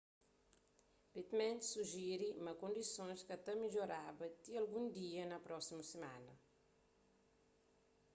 pittman sujiri ma kondisons ka ta midjoraba ti algun dia na prósimu simana